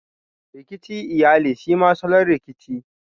Rikici iyali shema salon Rikici.